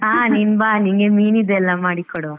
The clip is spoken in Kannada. ಹಾ ನೀನ್ ಬಾ ನಿನ್ಗೆ ಮೀನಿದೆಲ್ಲ ಮಾಡಿಕೊಡುವ.